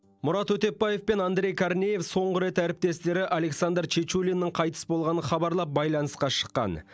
мұрат өтепбаев пен андрей корнеев соңғы рет әріптестері александр чечулиннің қайтыс болғанын хабарлап байланысқа шыққан